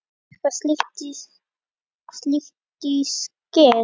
Gafstu eitthvað slíkt í skyn?